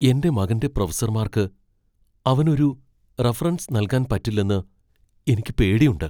എന്റെ മകന്റെ പ്രൊഫസർമാർക്ക് അവന് ഒരു റഫറൻസ് നൽകാൻ പറ്റില്ലെന്ന് എനിക്ക് പേടിയുണ്ട്.